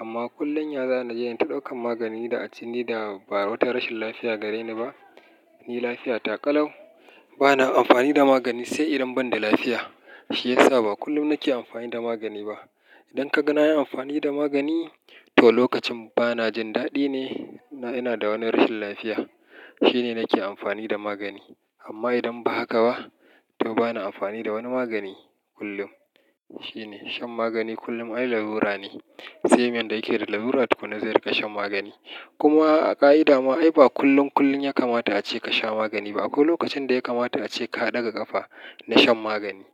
Amma kullum ya zaai naje nai ta ɗaukan magani da a ce ni da ba wata rashin lafiya gare ni ba, ni lafiya takalau. Bana amfani da magani sai idan ban da lafiya. Shi yasa ba kullum nake amfani da magani ba. Idan ka ga na yi amfani da magani, to lokacin ba na jin daɗi ne na ina da wani rashin lafiya shine nake amfani da magani. Amma idan ba haka ba, to bana amfani da wani magani kullum. Shine shan magani kullum ai lalura ne, sai mai yadda yake da lalura tukuna zai riƙa shan magani. Kuma a ƙa'ida ma ai ba kullum kullum ya kamata a ce ka sha magani ba. Akwai lokacin da ya kamata a ce ka ɗaga ƙafa na shan magani.